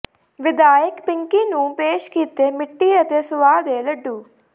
ਵਿਧਾਇਕ ਪਿੰਕੀ ਨੂੰ ਪੇਸ਼ ਕੀਤੇ ਮਿੱਟੀ ਅਤੇ ਸੁਆਹ ਦੇ ਲੱਡੂ